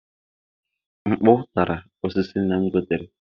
Mkpụ tara osisi nna m gotere.